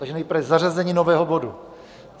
Takže nejprve zařazení nového bodu.